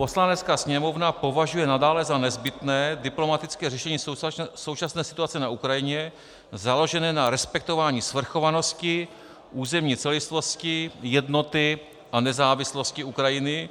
Poslanecká sněmovna považuje nadále za nezbytné diplomatické řešení současné situace na Ukrajině, založené na respektování svrchovanosti, územní celistvosti, jednoty a nezávislosti Ukrajiny,